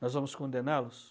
Nós vamos condená-los?